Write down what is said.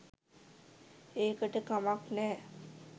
ඒකට කමක් නෑ